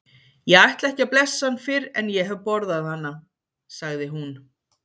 Ég ætla ekki að blessa hann fyrr en ég hef borðað hana, sagði hún.